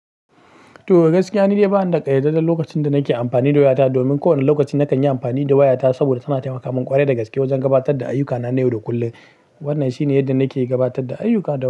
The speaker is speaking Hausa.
To gaskiya, ni dai ba ni da ƙayyadadden lokacin da nake amfani da wayata. Domin kowane lokaci nakan yi amfani da wayata saboda tana taimaka min ƙwarai da gaske wajen gabatar da ayyukana na yau da kullum. Wannan shine yadda nake gabatar da ayyuka da.